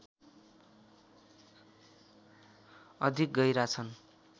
अधिक गहिरा छन्